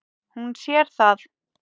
Hún sér það.